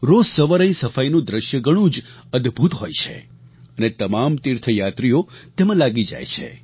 રોજ સવારે અહીં સફાઈનું દ્રશ્ય ઘણું જ અદભુત હોય છે અને તમામ તીર્થયાત્રીઓ તેમાં લાગી જાય છે